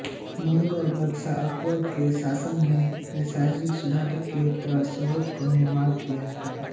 मुगल बादशाह अकबर के शासनकाल में प्रशासनिक सुधारों के तहत सूबों का निमार्ण किया गया